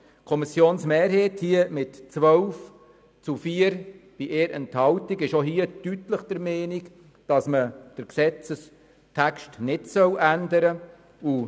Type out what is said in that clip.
Die Kommissionsmehrheit ist hier mit 12 zu 4 Stimmen bei 1 Enthaltung deutlich der Meinung, dass man den Gesetzestext nicht ändern soll.